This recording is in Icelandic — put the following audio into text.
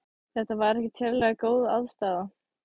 Þetta var ekkert sérlega góð aðstaða.